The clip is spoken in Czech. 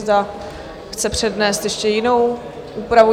Zda chce přednést ještě jinou úpravu?